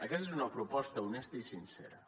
aquesta és una proposta honesta i sincera